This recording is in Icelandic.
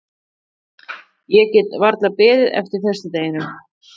Ég get varla beðið eftir föstudeginum.